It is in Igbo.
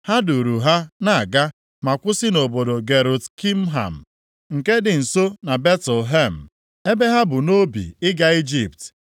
Ha duuru ha na-aga, ma kwụsị nʼobodo Gerut Kimham, nke dị nso na Betlehem, ebe ha bu nʼobi ịga Ijipt,